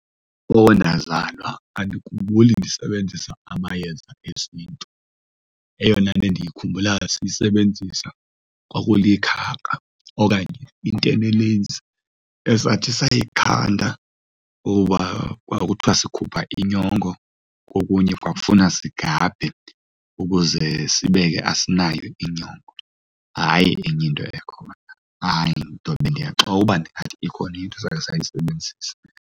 Oko ndazalwa andikhumbuli ndisebenzisa amayeza esintu. Eyona nto endikhumbula siyisebenzisa kwakulikhaka okanye intebelezi esathi sayikhanda kuba kwakuthiwa sikhupha inyongo so okunye kwafuna sigabhe ukuze sibe ke asinayo inyongo, hayi enye into ekhona. Hayi, ndobe ndiyaxoka uba ndingathi ikhona into esakhe siyayisebenzisa.